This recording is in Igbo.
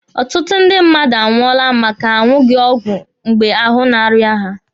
Ọtụtụ ndị mmadụ anwụọla maka na ha aṅụghi ọgwụ mgbe ahụ na-arịa ha.